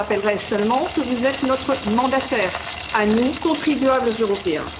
Je vous rappellerai seulement que vous êtes notre mandataire, à nous contribuables européens.